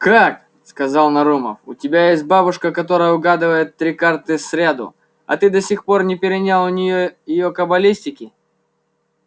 как сказал нарумов у тебя есть бабушка которая угадывает три карты сряду а ты до сих пор не перенял у ней её кабалистики